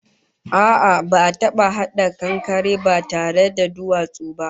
A'a, ba'a taba hada kankare ba tare da duwatsu ba